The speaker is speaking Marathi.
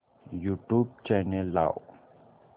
यूट्यूब चॅनल लाव